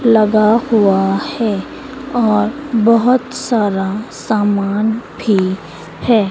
लगा हुआ है और बहुत सारा सामान भी है।